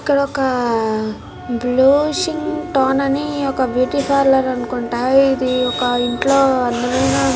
ఇక్కడొక బ్లూషింగ్టోన్ అని ఒక బ్యూటీ పార్లర్ అనుకుంటా. ఇది ఒక ఇంట్లో అందమైన --